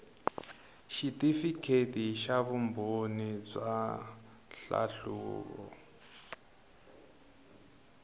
xitifikheti xa vumbhoni bya nhlahluvo